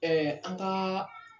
Ɛɛ an kaa